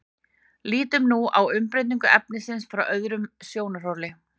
lítum nú á umbreytingu efnisins frá öðrum sjónarhóli